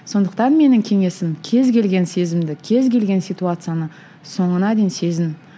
сондықтан менің кеңесім кез келген сезімді кез келген ситуацияны соңына дейін сезін